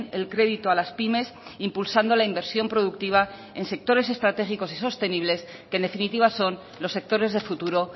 el crédito a las pymes impulsando la inversión productiva en sectores estratégicos y sostenibles que en definitiva son los sectores de futuro